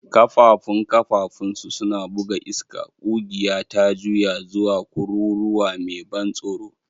Ƙafãfun ƙafãfunsu suna buga iska, ƙugiya ta juya zuwa kururuwa mai ban tsoro